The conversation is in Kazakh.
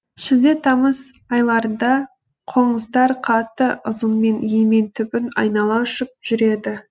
шілде тамыз айларында қоңыздар қатты ызыңмен емен түбін айнала ұшып жүреді